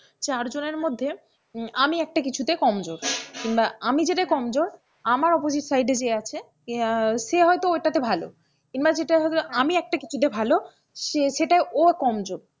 চারজনের মধ্যে আমি একটা কিছুতে কমজোর কিংবা আমি যেটাই কমজোর আমার opposite side যে জে আছে সে হয়তো ঐটাতে ভালো কিংবা আমি একটা কিছু তে ভালো সেটাই ও কমজোর,